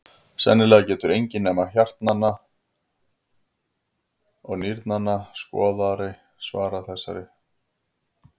Sennilega getur enginn nema hjartnanna og nýrnanna skoðari svarað þessari spurningu með nákvæmni.